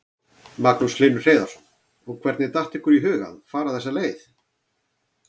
Magnús Hlynur Hreiðarsson: Og hvernig datt ykkur í hug að fara þessa leið?